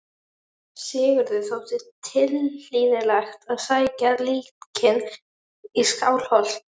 Sigurði þótti tilhlýðilegt að sækja líkin í Skálholt.